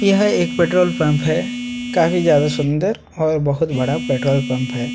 यह एक petrol pump है काफी ज्यादा सुंदर और बहुत बड़ा पेट्रोल पंप है।